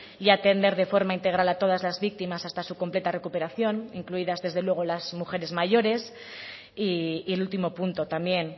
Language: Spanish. y atender de forma integral a todas las víctimas hasta su completa recuperación incluidas desde luego las mujeres mayores y el último punto también